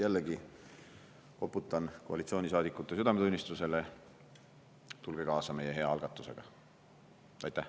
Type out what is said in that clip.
Jällegi koputan koalitsioonisaadikute südametunnistusele: tulge kaasa meie hea algatusega!